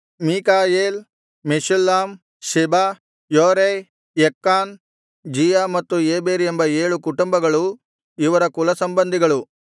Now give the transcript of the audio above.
ಮೀಕಾಯೇಲ್ ಮೆಷುಲ್ಲಾಮ್ ಶೆಬ ಯೋರೈ ಯಕ್ಕಾನ್ ಜೀಯ ಮತ್ತು ಏಬೆರ್ ಎಂಬ ಏಳು ಕುಟುಂಬಗಳೂ ಇವರ ಕುಲಸಂಬಂಧಿಗಳು